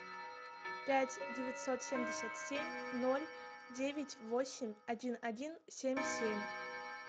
пять девятьсот семьдесят семь ноль девять восемь один один семь семь